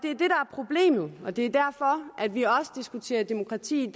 problemet og det er derfor at vi også diskuterer demokrati